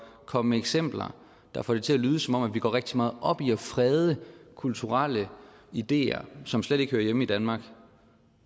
at komme med eksempler der får det til at lyde som om vi går rigtig meget op i at frede kulturelle ideer som slet ikke hører hjemme i danmark